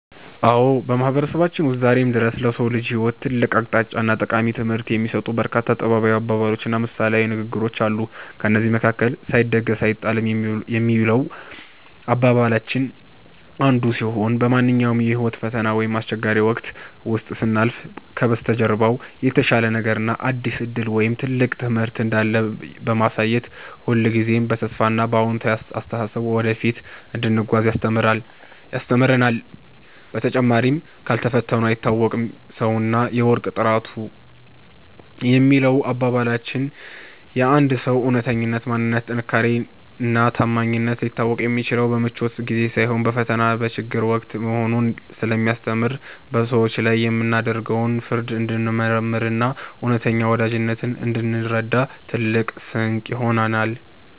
አዎ፣ በማህበረሰባችን ውስጥ ዛሬም ድረስ ለሰው ልጅ ህይወት ትልቅ አቅጣጫና ጠቃሚ ትምህርት የሚሰጡ በርካታ ጥበባዊ አባባሎችና ምሳሌያዊ ንግግሮች አሉ። ከእነዚህም መካከል “ሳይደግስ አይጣላም” የሚለው አባባላችን አንዱ ሲሆን፣ በማንኛውም የህይወት ፈተና ወይም አስቸጋሪ ወቅት ውስጥ ስናልፍ ከበስተጀርባው የተሻለ ነገር፣ አዲስ ዕድል ወይም ትልቅ ትምህርት እንዳለ በማሳየት ሁልጊዜም በተስፋና በአዎንታዊ አስተሳሰብ ወደፊት እንድንጓዝ ያስተምረናል። በተጨማሪም “ካልፈተኑት አይታወቅም ሰውና የወርቅ ጥራት” የሚለው አባባላችን የአንድ ሰው እውነተኛ ማንነት፣ ጥንካሬና ታማኝነት ሊታወቅ የሚችለው በምቾት ጊዜ ሳይሆን በፈተናና በችግር ወቅት መሆኑን ስለሚያስተምር፣ በሰዎች ላይ የምናደርገውን ፍርድ እንድንመረምርና እውነተኛ ወዳጅነትን እንድንረዳ ትልቅ ስንቅ ይሆነናል።